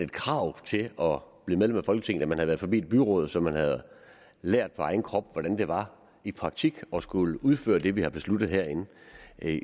krav når blev medlem af folketinget at man havde været forbi et byråd så man havde lært på egen krop hvordan det var i praksis at skulle udføre det vi havde besluttet herinde